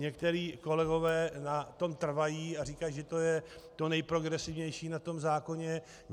Někteří kolegové na tom trvají a říkají, že to je to nejprogresivnější na tom zákoně.